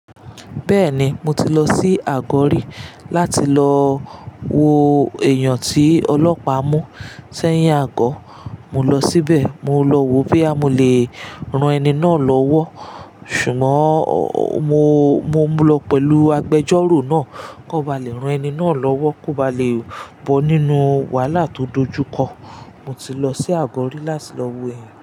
Bẹ́ẹ̀ni, mo ti lọ sí Àgọ́ rí láti lọ wo èèyàn tí ọlọ́pàá mú. Sẹ́yín àkọ́, mo lọ síbẹ̀, mo lọ wo bí a mo le ran ẹni náà lọ́wọ́. Ṣùgbọ́n mo, mo mu lọ pẹ̀lú agbẹjọ́rò náà kó ba lè ran ẹni náà lọ́wọ́, kó ba lè bọ́ nínú wàhálà tó dojú kọ. Mo ti lọ sí Àgọ́ rí láti lọ wo èèyàn náà.